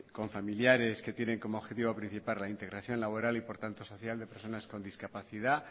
con familiares que tienen como objetivo principal la integración laboral y por lo tanto social de personas con discapacidad